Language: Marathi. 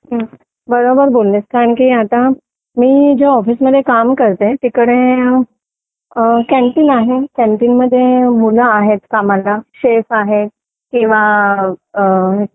बरोबर बोललीस कारण आता मी जे ऑफिसमध्ये काम करते तिकडे कॅन्टीन आहे कॅन्टीन मध्ये मुलं आहेत कामाला शेप आहे किंवा